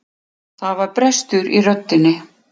Það var brestur í röddinni.